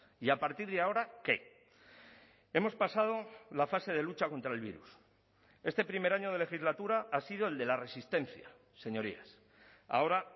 y a partir de ahora qué hemos pasado la fase de lucha contra el virus este primer año de legislatura ha sido el de la resistencia señorías ahora